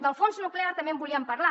del fons nuclear també en volíem parlar